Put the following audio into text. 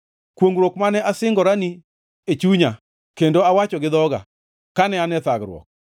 Kwongʼruok mane asingoni e chunya kendo awacho gi dhoga kane an e thagruok.